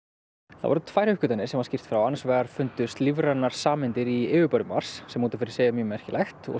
það voru tvær uppgötvanir sem var skýrt frá annars vegar fundust lífrænar sameindir í yfirborði Mars sem út af fyrir sig er mjög merkilegt